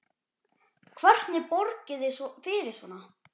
Hvernig borgið þið fyrir svona?